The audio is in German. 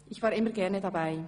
Ich war immer gerne dabei.